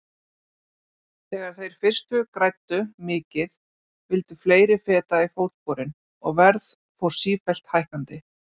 Þegar þeir fyrstu græddu mikið vildu fleiri feta í fótsporin og verð fór sífellt hækkandi.